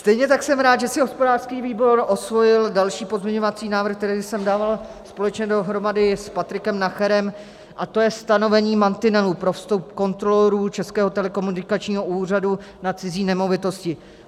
Stejně tak jsem rád, že si hospodářský výbor osvojil další pozměňovací návrh, který jsem dával společně dohromady s Patrikem Nacherem, a to je stanovení mantinelů pro vstup kontrolorů Českého telekomunikačního úřadu na cizí nemovitosti.